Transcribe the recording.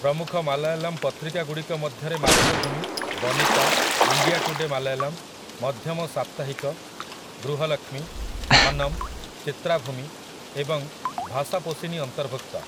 ପ୍ରମୁଖ ମାଲାୟାଲମ୍ ପତ୍ରିକାଗୁଡ଼ିକ ମଧ୍ୟରେ ମାତୃଭୂମି, ବନିତା, ଇଣ୍ଡିଆ ଟୁଡେ ମାଲାୟାଲମ୍, ମଧ୍ୟମ ସାପ୍ତାହିକ, ଗୃହଲକ୍ଷ୍ମୀ, ଧନମ୍, ଚିତ୍ରାଭୂମି ଏବଂ ଭାଷାପୋଷିନି ଅନ୍ତର୍ଭୁକ୍ତ ।